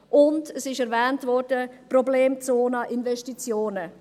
Und – es wurde erwähnt – es gibt die Problemzone bei den Investitionen.